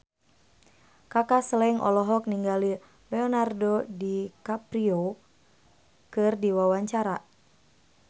Kaka Slank olohok ningali Leonardo DiCaprio keur diwawancara